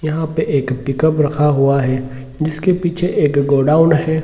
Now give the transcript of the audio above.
यहाँ पे एक पिक-अप रखा हुआ हे जिसके पीछे एक गोडाउन है।